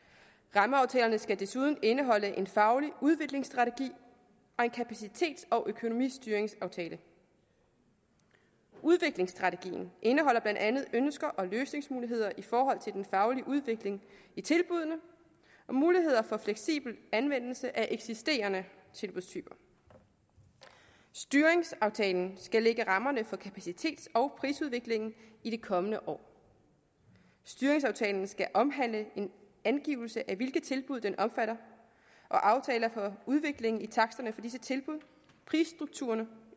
rammeaftalerne skal desuden indeholde en faglig udviklingsstrategi og en kapacitets og økonomistyringsaftale udviklingsstrategien indeholder blandt andet ønsker og løsningsmuligheder i forhold til den faglige udvikling i tilbuddene og muligheder for fleksibel anvendelse af eksisterende tilbudstyper styringsaftalen skal lægge rammerne for kapacitets og prisudviklingen i de kommende år styringsaftalen skal omhandle en angivelse af hvilke tilbud den omfatter og aftaler for udvikling i taksterne for disse tilbud prisstrukturerne